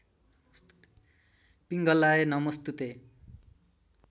पिङ्गलाय नमोस्तुते